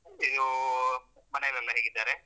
ಇದೂ ಮನೆಲೆಲ್ಲ ಹೇಗಿದ್ದಾರೆ?